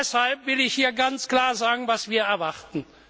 Deshalb will ich hier ganz klar sagen, was wir erwarten.